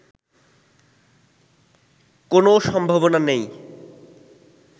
কোনও সম্ভাবনা নেই